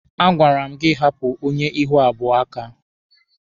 A gwara m gị hapụ onye ihu abụọ a aka!